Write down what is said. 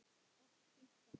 Allt fínt bara.